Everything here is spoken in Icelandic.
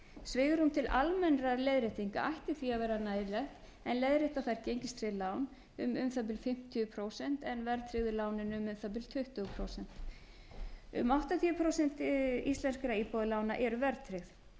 svigrúm til almennra leiðréttinga ætti því að vera nægilegt en leiðrétta þarf gengistryggð lán um um það bil fimmtíu prósent en verðtryggðu lánin um um það bil tuttugu prósent um áttatíu prósent íslenskra íbúðalána eru verðtryggð þá